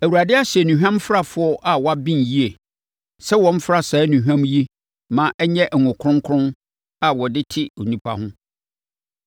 Awurade ahyɛ nnuhwamfrafoɔ a wɔaben yie, sɛ wɔmfra saa nnuhwam yi ma ɛnyɛ ngo kronkron a wɔde te onipa ho.